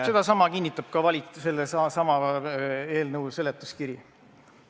Sedasama kinnitab ka sellesama eelnõu seletuskiri.